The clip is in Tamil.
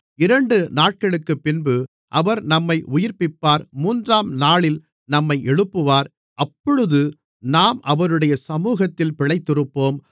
இரண்டுநாட்களுக்குப்பின்பு அவர் நம்மை உயிர்ப்பிப்பார் மூன்றாம் நாளில் நம்மை எழுப்புவார் அப்பொழுது நாம் அவருடைய சமுகத்தில் பிழைத்திருப்போம்